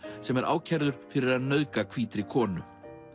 sem er ákærður fyrir að nauðga hvítri konu